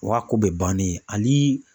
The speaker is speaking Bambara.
o y'a ko bɛ bannen ali